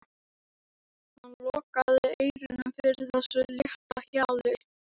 Hann lokaði eyrunum fyrir þessu létta hjali.